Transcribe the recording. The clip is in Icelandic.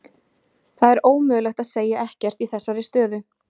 Það er ómögulegt að segja ekkert í þessari stöðu.